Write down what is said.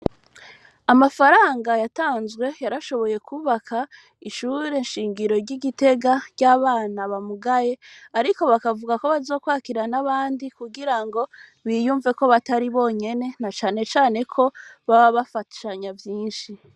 Amafaranga yatanzwe yarashoboye kubaka ishure nshingiro ry'igitega ry'abana bamugaye, ariko bakavuga ko bazokwakira n'abandi kugira ngo biyumve ko batari bonyene na canecane ko baba bafashanya vyinshi.